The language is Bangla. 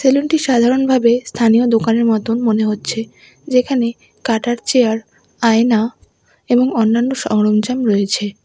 সেলুন টি সাধারণভাবে স্থানীয় দোকানের মতোন মনে হচ্ছে যেখানে কাটার চেয়ার আয়না এবং অন্যান্য সরঞ্জাম রয়েছে।